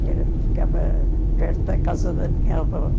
ficava perto da casa da minha avó.